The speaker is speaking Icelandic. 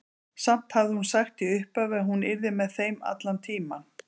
Samt hafði hún sagt í upphafi að hún yrði með þeim allan tímann.